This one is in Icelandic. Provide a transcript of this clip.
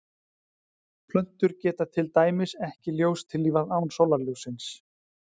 plöntur geta til dæmis ekki ljóstillífað án sólarljóssins